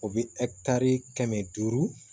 O bɛ kɛmɛ duuru